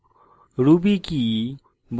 ruby কি